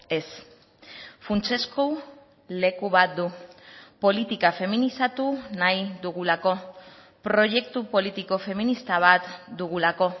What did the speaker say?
ez funtsezko leku bat du politika feminizatu nahi dugulako proiektu politiko feminista bat dugulako